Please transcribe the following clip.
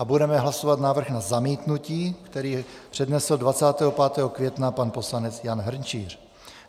A budeme hlasovat návrh na zamítnutí, který přednesl 25. května pan poslanec Jan Hrnčíř.